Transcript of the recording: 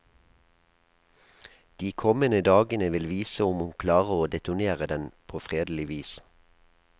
De kommende dagene vil vise om hun klarer å detonere den på fredelig vis.